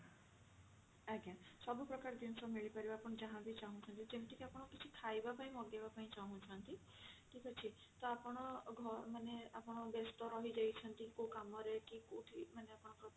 ଆଜ୍ଞା ସବୁ ପ୍ରକାର ଜିନିଷ ମିଳିପାରିବ ଆପଣ ଯାହା ବି ଚାହୁଁଛନ୍ତି ଯେମିତି କି ଆପଣ କିଛି ଖାଇବା ପାଇଁ ମଗେଇବା ପାଇଁ ଚାହୁଁଛନ୍ତି ଠିକ ଅଛି ତ ଆପଣ ଘର ମାନେ ଆପଣ ବେସ୍ତ ରହିଯାଇଛନ୍ତି କଉ କାମ ରେ କି କଉଠି ମାନେ ଆପଣଙ୍କ ପାଖରେ